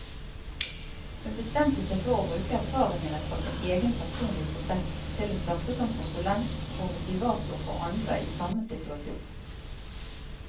Hun bestemte seg for å bruke erfaringene fra sin egen personlige prosess til å starte som konsulent og motivator for andre i samme situasjon.